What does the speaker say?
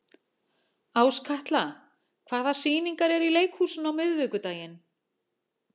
Áskatla, hvaða sýningar eru í leikhúsinu á miðvikudaginn?